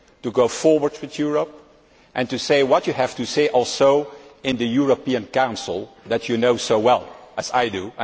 To go forward with Europe and also to say what you have to say in the European Council, that you know so well as I do.